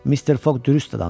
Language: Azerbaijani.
Mister Foq dürüst adamdır.